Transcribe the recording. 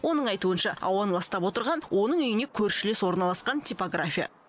оның айтуынша ауаны ластап отырған оның үйіне көршілес орналасқан типография